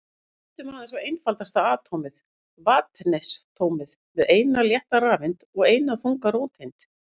Lítum aðeins á einfaldasta atómið, vetnisatómið með eina létta rafeind og eina þunga róteind.